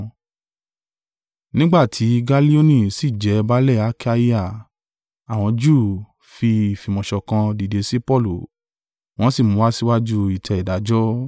Nígbà tí Gallioni sì jẹ baálẹ̀ Akaia, àwọn Júù fi ìfìmọ̀ṣọ̀kan dìde sí Paulu wọn sì mú un wá síwájú ìtẹ́ ìdájọ́.